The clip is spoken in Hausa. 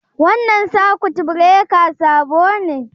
Wannan sakut birekan sabo ne?